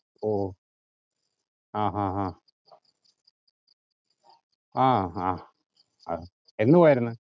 ഓ ആഹ് ആഹ് ആഹ് ആഹ് ആഹ് എന്ന് പോയാരുന്നു?